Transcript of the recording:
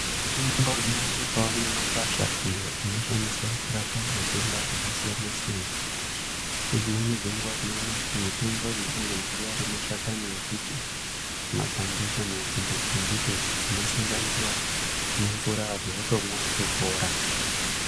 Mitombo inowanikwa mumakwasha iyo inoshandiswa kurapa matenda akasiyana siyana ngedzimweni dzenguwa tinoona kuti mitombo iyiinogona kuwa ari mashakani embiti mapande kana midzi yembiti idzo dzinosanganiswa nemvura antu otomwa otopora.